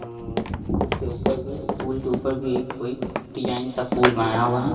उम्म्म उसके ऊपर भी पूल के ऊपर भी एक कोई डिजाइन सा पूल बनाया हुआ है।